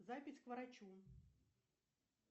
запись к врачу